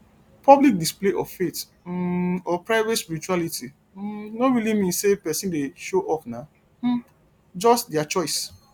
public display of faith um or private spirituality um no really mean sey person dey show off na um just di choice